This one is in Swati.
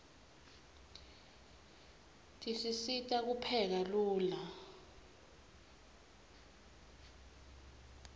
tisisita kupheka lula